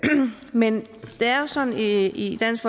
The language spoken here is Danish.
men det er sådan at i dansk